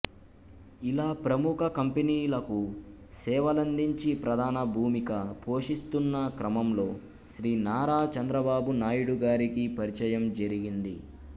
ఇలా ప్రముఖ కంపెనీలకు సేవలందించి ప్రధాన భూమిక పోషిస్తున్న క్రమంలో శ్రీ నారా చంద్రబాబు నాయుడి గారికి పరిచయం జరిగింది